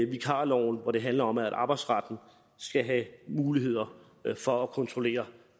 vikarloven og det handler om at arbejdsretten skal have muligheder for at kontrollere